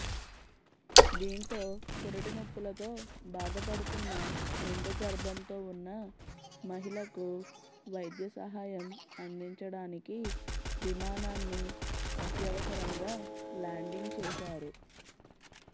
దీంతో పురుటినొప్పులతో బాధపుడుతున్న నిండు గర్భంతో ఉన్న మహిళ కు వైద్య సహాయం అందించడానికి విమానాన్ని అత్యవసరంగా ల్యాండింగ్ చేశారు